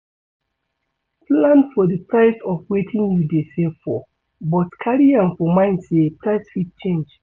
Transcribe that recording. Plan for di price of wetin you dey save for but carry am for mind sey price fit change